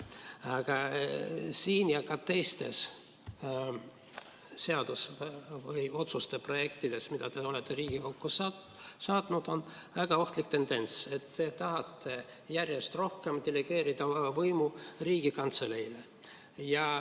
Aga siin ja ka teistes seaduse või otsuse projektides, mida te olete Riigikokku saatnud, on väga ohtlik tendents: te tahate järjest rohkem delegeerida oma võimu Riigikantseleile.